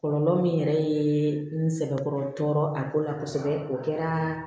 Kɔlɔlɔ min yɛrɛ ye n sɛbɛkɔrɔ tɔɔrɔ a ko la kosɛbɛ o kɛra